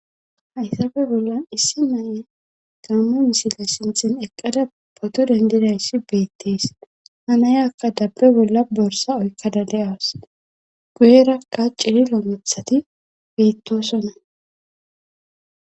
hayssafe bollan issi na'ayi gammo misile sinthen eqqada potto dendidayssi beettees ha nayakka dabbe bolla borsa oyithada de'awus guyerakka cililo mithati beettosonna